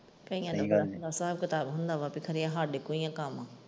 ਕਈਆਂ ਦੀ ਗੱਲ ਦਾ ਸਾਬ ਕਿਤਾਬ ਹੁੰਦਾ ਹੈ ਖਰੇ ਸਾਡੇ ਕੋਲ ਹੀ ਹੈ ਕੰਮ।